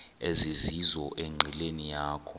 ezizizo enqileni yakho